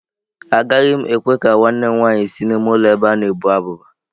Agaghị m ekwe ka nwanne m nwanyị si n'ime ụlọ ebe a na-ebu abụba.